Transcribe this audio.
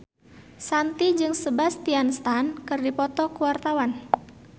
Shanti jeung Sebastian Stan keur dipoto ku wartawan